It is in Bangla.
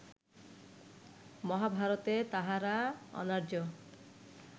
মহাভারতে তাহারা অনার্য